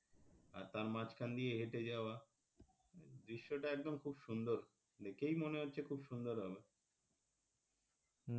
আর তার মাঝখান দিয়ে হেঁটে যাওয়া দৃশ্যটা একদম খুব সুন্দর দেখেই মনে হচ্ছে খুব সুন্দর হবে,